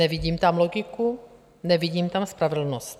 Nevidím tam logiku, nevidím tam spravedlnost.